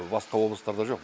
басқа облыстарда жоқ